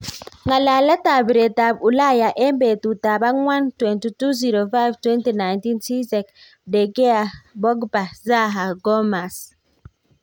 Ngalalet ap piriet ap ulaya eng petut ap akwang 22,05,2019cech, De gea, pogba, zaha, gomas.